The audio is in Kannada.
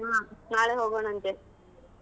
ಹ್ಮ್ ನಾಳೆ ಹೋಗೋಣ ಅಂತೆ.